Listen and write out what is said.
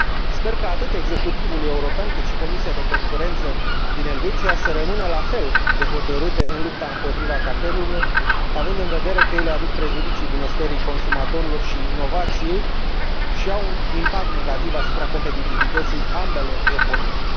Sper ca atât executivul european, cât și Comisia de Concurență din Elveția să rămână la fel de hotărâte în lupta împotriva cartelurilor, având în vedere că ele aduc prejudicii bunăstării consumatorilor și inovației și au un impact negativ asupra competitivității ambelor economii.